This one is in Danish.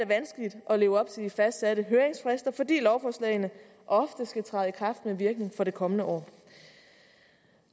vanskeligt at leve op til de fastsatte høringsfrister fordi lovforslagene ofte skal træde i kraft med virkning for det kommende år